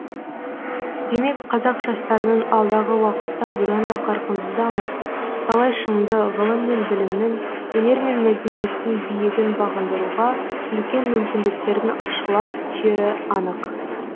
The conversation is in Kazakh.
демек қазақ жастарының алдағы уақытта бұдан да қарқынды дамып талай шыңды ғылым мен білімнің өнер мен мәдениеттің биігін бағындыруға үлкен мүмкіндіктердің ашыла түсері анық